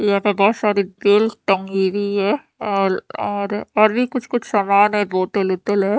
और यहा पर बहोत सारे और भी कुच्छ कुछ सामान है बोतल वोतल है।